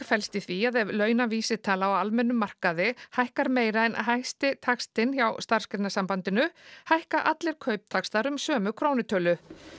felst í því að ef launavísitala á almennum markaði hækkar meira en hæsti taxtinn hjá Starfsgreinasambandinu hækka allir kauptaxtar um sömu krónutölu